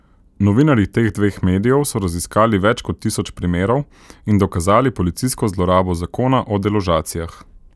Novinarji teh dveh medijev so raziskali več kot tisoč primerov in dokazali policijsko zlorabo zakona o deložacijah.